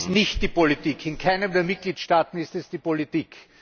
Es ist nicht die Politik. In keinem der Mitgliedstaaten ist es die Politik.